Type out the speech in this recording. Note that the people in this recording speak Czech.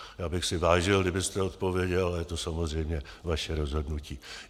Já bych si vážil, kdybyste odpověděl, a je to samozřejmě vaše rozhodnutí.